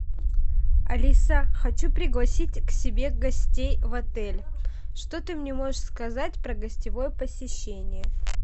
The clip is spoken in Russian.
алиса хочу пригласить к себе гостей в отель что ты мне можешь сказать про гостевое посещение